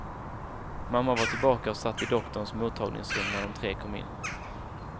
Mamma var tillbaka och satt i doktorns mottagningsrum när de tre kom in.